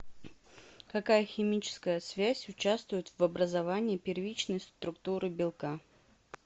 какая химическая связь участвует в образовании первичной структуры белка